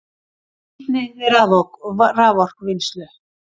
Nýtni við raforkuvinnslu